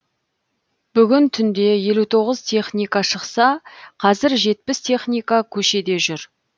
бүгін түнде елу тоғыз техника шықса қазір жетпіс техника көшеде жүр